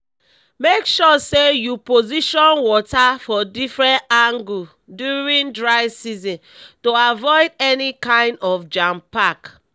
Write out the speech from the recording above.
make sure say you position water for different angle during dry season to avoid any kind of jampack